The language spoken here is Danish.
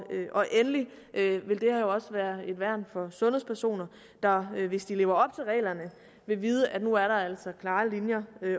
endelig vil det her også være et værn for sundhedspersoner der hvis de lever op reglerne vil vide at nu er der altså klare linjer